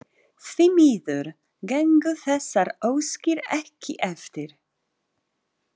Því miður gengu þessar óskir ekki eftir.